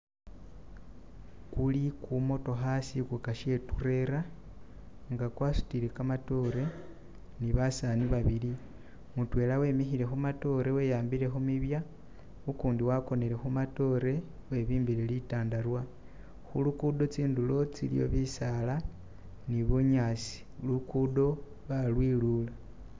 kuli kumotokha shikuka she turela nga kwasutile kamatore ni basani babili. Mutwela wemikhile khu matore weyambile kumibya ukundi wakonele khumatore webimbile litundubale khulugudo kundulo khulikho bisaala ni bunyasi. Luguudo balwilula.